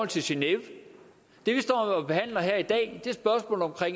til genève det vi står og behandler her i dag